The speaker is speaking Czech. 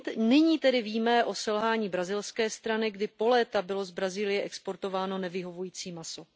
Nyní tedy víme o selhání brazilské strany, kdy po léta bylo z Brazílie exportováno nevyhovující maso.